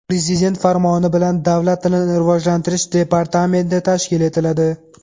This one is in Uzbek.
Prezident farmoni bilan Davlat tilini rivojlantirish departamenti tashkil etiladi.